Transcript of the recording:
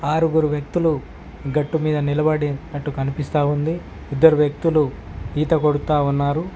ఆరుగురు వ్యక్తులు గట్టు మీద నిలబడి అట్టు కనిపిస్తా ఉంది ఇద్దరు వ్యక్తులు ఈత కొడతా ఉన్నారు